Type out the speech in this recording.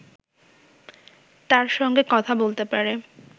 তার সঙ্গে কথা বলতে পারে